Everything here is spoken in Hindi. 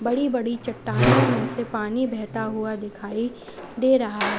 बड़ी बड़ी चट्टानों में से पानी बहता हुआ दिखाई दे रहा है।